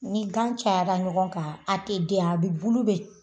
Ni gan cayara ɲɔgɔn kan a te den a be bulu be